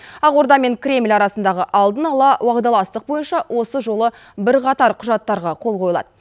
ақорда мен кремль арасындағы алдын ала уағдаластық бойынша осы жолы бірқатар құжаттарға қол қойылады